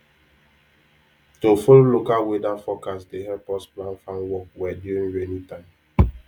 to follow local weather forecast dey help us plan farm work well during rainy time